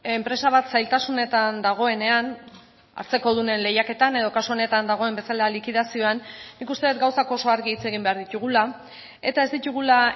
enpresa bat zailtasunetan dagoenean hartzekodunen lehiaketan edo kasu honetan dagoen bezala likidazioan nik uste dut gauzak oso argi hitz egin behar ditugula eta ez ditugula